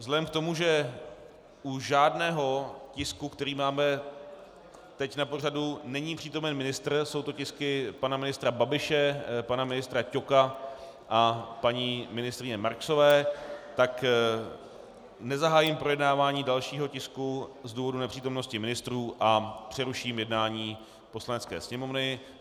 Vzhledem k tomu, že u žádného tisku, který máme teď na pořadu, není přítomen ministr, jsou to tisky pana ministra Babiše, pana ministra Ťoka a paní ministryně Marksové, tak nezahájím projednávání dalšího tisku z důvodu nepřítomnosti ministrů a přeruším jednání Poslanecké sněmovny.